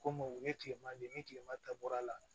Komu u ye tilema de ni kilema ta bɔr'a la